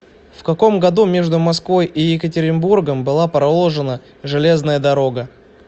в каком году между москвой и екатеринбургом была проложена железная дорога